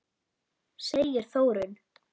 segir Þórunn.